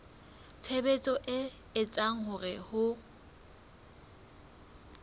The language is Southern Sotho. tshebetso e etsang hore ho